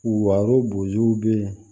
Waro bozow be yen